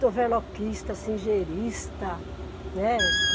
De overloquista, singerista, né.